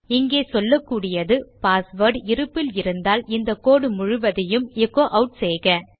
இங்கே சொல்லக்கூடியது பாஸ்வேர்ட் இருப்பில் இருந்தால் இந்த கோடு முழுவதையும் எச்சோ ஆட் செய்க